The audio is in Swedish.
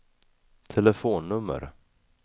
telefonnummer